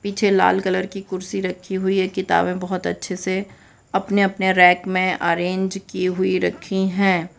पीछे लाल कलर की कुर्सी रखी हुई है किताबें बहोत अच्छे से अपने अपने रेक में अरेंज की हुई रखी हैं।